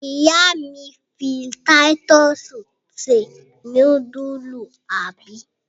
Ìyá mi mi títọ́sì se núdúlù, àbí?